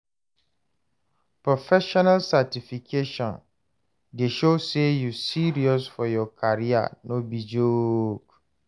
Professional certification dey show say you serious for your career, no be joke.